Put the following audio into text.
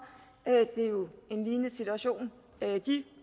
det er jo en lignende situation de